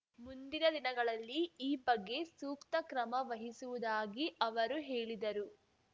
ಮುಂದಿನ ದಿನಗಳಲ್ಲಿ ಈ ಬಗ್ಗೆ ಸೂಕ್ತ ಕ್ರಮ ವಹಿಸುವುದಾಗಿ ಅವರು ಹೇಳಿದರು